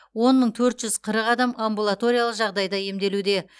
он мың төр жүз қырық адам амбулаториялық жағдайда емделуде